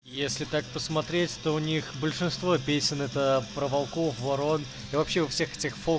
если так посмотреть то у них большинство песен это про волков ворон и вообще у всех этих фол